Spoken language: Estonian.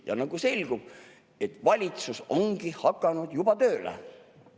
Ja nagu selgub, valitsus ongi juba tööle hakanud.